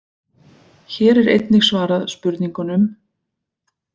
Hér er einnig svarað spurningunum: